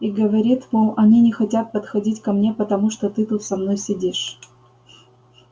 и говорит мол они не хотят подходить ко мне потому что ты тут со мной сидишь